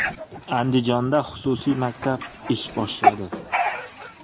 Andijonda xususiy maktab ish boshladi.